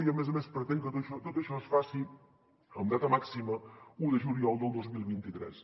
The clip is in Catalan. i a més a més es pretén que tot això es faci amb data màxima un de juliol del dos mil vint tres